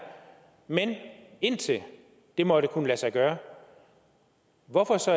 men indtil det måtte kunne lade sig gøre hvorfor så